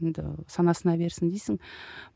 енді санасына берсін дейсің